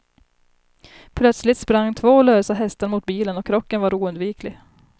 Plötsligt sprang två lösa hästar mot bilen och krocken var oundviklig.